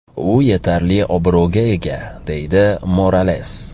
U yetarli obro‘ga ega”, deydi Morales.